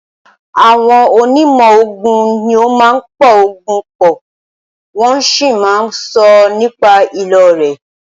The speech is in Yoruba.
Àwọn onímọ̀ oògùn ní o máà ń po oògùn pọ̀, wọ́n sì máà ń sọ nípa ìlò rẹ̀.